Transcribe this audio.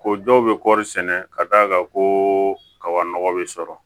Ko dɔw bɛ kɔɔri sɛnɛ ka d'a kan koba nɔgɔ bɛ sɔrɔ